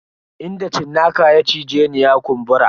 Inda cinnaka ya cije ni ya kumbura.